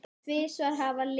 Hann samdi til fimm ára.